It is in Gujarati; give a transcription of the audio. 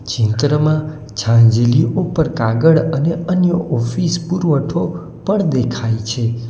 ચિત્રમાં છાંજલી ઉપર કાગળ અને અન્ય ઓફિસ પુરવઠો પણ દેખાય છે.